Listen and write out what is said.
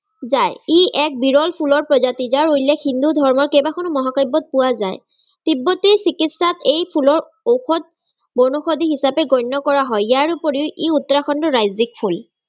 যায়। ই এক বিৰল ফুলৰ প্ৰজাতি, যাৰ উল্লেখ হিন্দু ধৰ্মৰ কেইবাখনো গ্ৰন্থত মহাকাব্যত পোৱা যায়। তিব্বতী চিকিৎসাত এই ফুলৰ ঔষধ বনৌসধি হিচাপে গন্য কৰা হয়। তাৰ উপৰিও ই উত্তৰাখণ্ডৰ ৰাজ্যিক ফুল